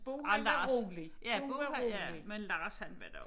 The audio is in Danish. Ah Lars ja Bo han ja men Lars han var da